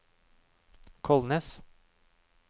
Kolnes